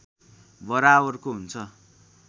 बराबरको हुन्छ